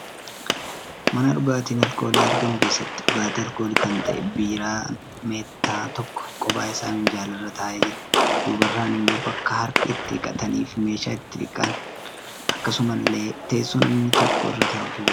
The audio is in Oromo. Mana dhugaatiin alkoolii argamu keessatti dhugatii alkoolii kan ta'e biiraan meettaa tokko qophaa isaa minjaalarra taa'ee jira. Duubarraan immoo bakka harka itti dhiqataniifi meeshaa itti dhiqan, akkasumallee teessoo namni tokko irra taa'utu jira.